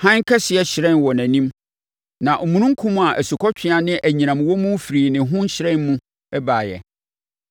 Hann kɛseɛ hyerɛn wɔ nʼanim, na omununkum a asukɔtweaa ne anyinam wɔ mu firii ne ho hyerɛn mu baeɛ.